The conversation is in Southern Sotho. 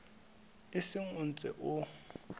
o seng o ntse o